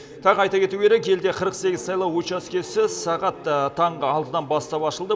тағы айта кету керек елде қырық сегіз сайлау учаскесі сағат таңғы алтыдан бастап ашылды